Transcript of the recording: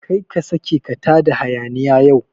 Kar ka saka ka tada hayaniya yau